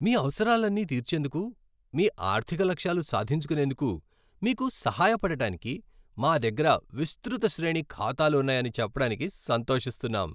మీ అవసరాలన్నీ తీర్చేందుకు, మీ ఆర్థిక లక్ష్యాలు సాధించుకునేందుకు మీకు సహాయపడటానికి, మా దగ్గర విస్తృత శ్రేణి ఖాతాలు ఉన్నాయని చెప్పటానికి సంతోషిస్తున్నాం.